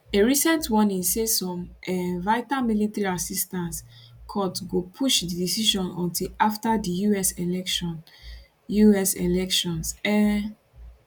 a recent warning say some um vital military assistance cut go push di decision until afta di us elections us elections um